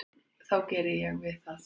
þá geri ég við það.